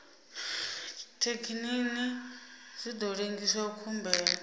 thekinini zwi ḓo lengisa khumbelo